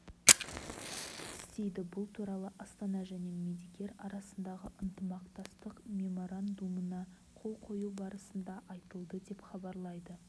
істейді бұл туралы астана және медикер арасындағы ынтымақтастық меморандумына қол қою барысында айтылды деп хабарлайды